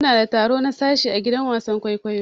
Muna da taro na sashi ã gidan wasan kwaikwayo.